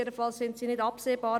Jedenfalls sind keine absehbar.